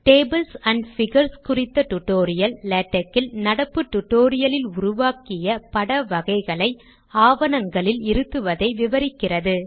tables and figures குறித்த tutorial LaTeX இல் நடப்பு டுடோரியலில் உருவாக்கிய பட வகைகளை ஆவணங்களில் இருத்துவதை விவரிக்கிறது